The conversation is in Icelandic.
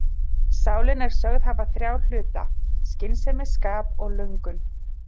Sálin er sögð hafa þrjá hluta, skynsemi, skap og löngun.